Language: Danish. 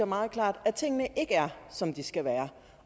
meget klart at tingene ikke er som de skal være